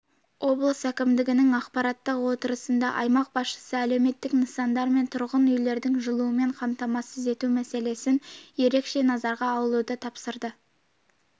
облыс әкімдігінің аппараттық отырысында аймақ басшысы әлеуметтік нысандар мен тұрғын үйлерді жылумен қамтамасыз ету мәселесін ерекше назарға алуды тапсырды